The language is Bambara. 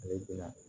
Ale don